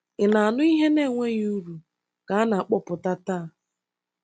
Ị̀ na-anụ ihe na-enweghị uru ka a na-akpọpụta taa?